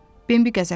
Bimbi qəzəbləndi.